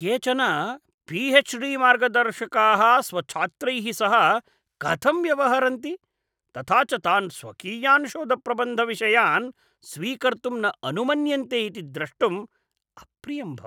केचन पी.एच्.डी. मार्गदर्शकाः स्वछात्रैः सह कथं व्यवहरन्ति, तथा च तान् स्वकीयान् शोधप्रबन्धविषयान् स्वीकर्तुं न अनुमन्यन्ते इति द्रष्टुम् अप्रियं भवति।